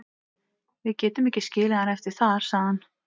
Við getum ekki skilið hann eftir þar, sagði hann.